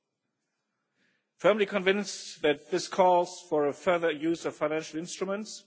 I am firmly convinced that this calls for a further use of financial instruments.